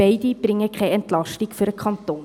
beide bringen keine Entlastung für den Kanton.